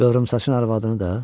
Qıvrımsaçın arvadını da?